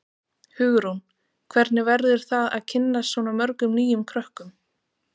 Hugrún: Hvernig verður það að kynnast svona mörgum nýjum krökkum?